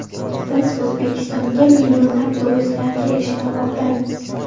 Biz O‘zbekistonga millionlab turistlar kelishini xohlaymiz.